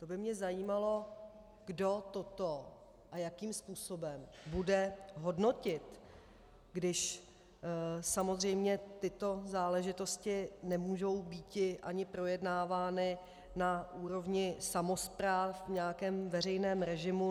To by mě zajímalo, kdo toto a jakým způsobem bude hodnotit, když samozřejmě tyto záležitosti nemůžou býti ani projednávány na úrovni samospráv v nějakém veřejném režimu.